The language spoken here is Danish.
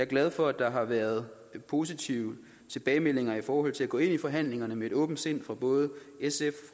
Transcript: glad for at der har været positive tilbagemeldinger i forhold til at gå ind i forhandlingerne med et åbent sind fra både sf